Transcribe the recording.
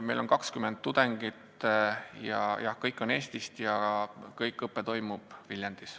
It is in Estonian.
Meil on 20 tudengit, kõik on Eestist ja kogu õpe toimub Viljandis.